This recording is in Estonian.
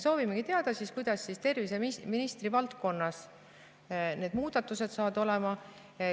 Soovimegi teada, kuidas terviseministri valdkonnas need muudatused saavad olema.